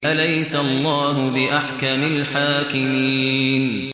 أَلَيْسَ اللَّهُ بِأَحْكَمِ الْحَاكِمِينَ